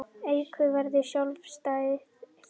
Auka verður sjálfstæði þingsins